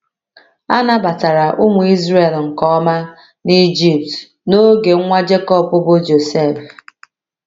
A nabatara ụmụ Izrel nke ọma n’Ijipt n’oge nwa Jekọb bụ́ Josef.